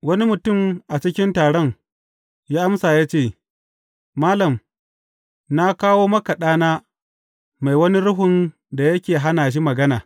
Wani mutum a cikin taron ya amsa ya ce, Malam, na kawo maka ɗana mai wani ruhun da yake hana shi magana.